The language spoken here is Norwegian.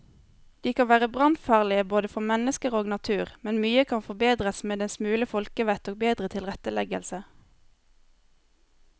De kan være brannfarlige både for mennesker og natur, men mye kan forbedres med en smule folkevett og bedre tilretteleggelse.